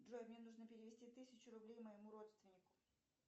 джой мне нужно перевести тысячу рублей моему родственнику